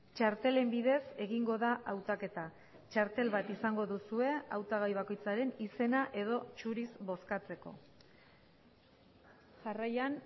txartelen bidez egingo da hautaketa txartel bat izango duzue hautagai bakoitzaren izena edo zuriz bozkatzeko jarraian